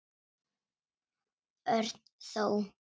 Örn þó.